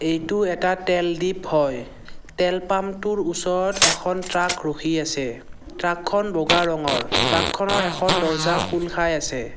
ইটো এটা তেল দ্বীপ হয় তেল পাম্প টোৰ ওচৰত এখন ট্ৰাক ৰখি আছে ট্ৰাক খন বগা ৰঙৰ ট্ৰাক খনৰ এখন দৰ্জ্জা খোল খাই আছে।